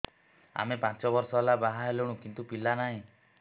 ଆମେ ପାଞ୍ଚ ବର୍ଷ ହେଲା ବାହା ହେଲୁଣି କିନ୍ତୁ ପିଲା ନାହିଁ